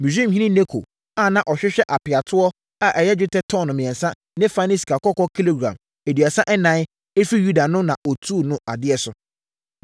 Misraimhene Neko a na ɔhwehwɛ apeatoɔ a ɛyɛ dwetɛ tɔno mmiɛnsa ne fa ne sikakɔkɔɔ kilogram aduasa ɛnan afiri Yuda no na ɔtuu no adeɛ so.